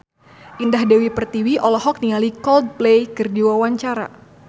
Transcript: Indah Dewi Pertiwi olohok ningali Coldplay keur diwawancara